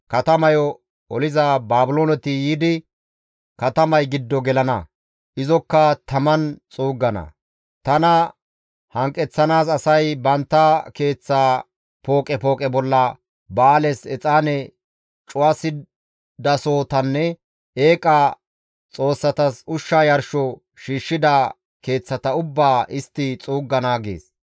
Katamayo oliza Baabilooneti yiidi katamay giddo gelana; izokka taman xuuggana; tana hanqeththanaas asay bantta keeththa pooqe pooqe bolla Ba7aales exaane cu7asidasohotanne eeqa xoossatas ushsha yarsho shiishshida keeththata ubbaa istti xuuggana» gees.